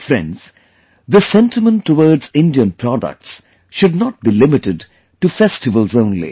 Friends, this sentiment towards Indian products should not be limited to festivals only